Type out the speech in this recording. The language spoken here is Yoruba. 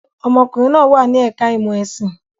Ọmọkùnrin náà wà ní ẹ̀ka-ìmọ̀ ẹ̀sìn.